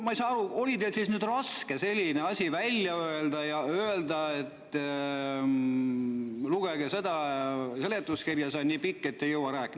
Ma ei saa aru, kas teil oli siis nüüd raske selline asi välja öelda, ütlema, et lugege seda seletuskirja, see on nii pikk, et ei jõua rääkida.